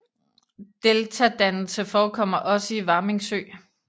Deltadannelse forekommer også i Varming Sø